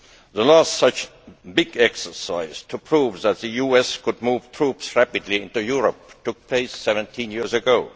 The last such big exercise to prove that the US could move troops rapidly into Europe took place 17 years ago.